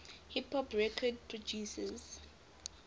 hip hop record producers